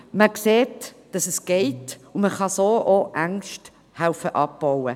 – man sieht, dass es geht, und man kann so auch helfen, Ängste abzubauen.